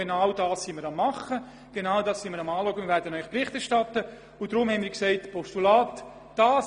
Genau das tun wir gegenwärtig auch bei vielen anderen Bereichen, und wir werden Ihnen Bericht erstatten.